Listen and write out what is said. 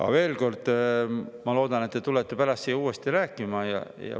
Aga veel kord, ma loodan, et te tulete pärast siia uuesti rääkima.